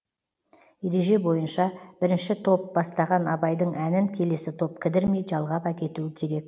ереже бойынша бірінші топ бастаған абайдың әнін келесі топ кідірмей жалғап әкетуі керек